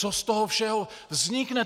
Co z toho všeho vznikne?